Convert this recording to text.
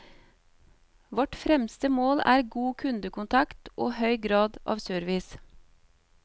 Vårt fremste mål er god kundekontakt og høy grad av service.